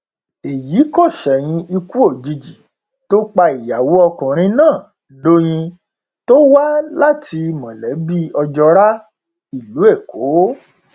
èyí kò ṣẹyìn ikú òjijì tó pa ìyàwó ọkùnrin náà dọyìn tó wá láti mọlẹbí ojora ìlú èkó